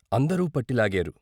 అందరూ పట్టి లాగారు.